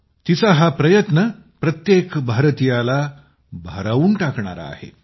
तिचा हा प्रयत्न प्रत्येक भारतीयाला भारावून टाकणारा आहे